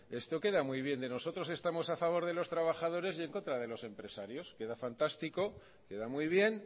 esto queda muy bien de nosotros estamos a favor de los trabajadores y en contra de los empresarios queda fantástico queda muy bien